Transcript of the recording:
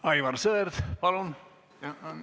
Aivar Sõerd, palun!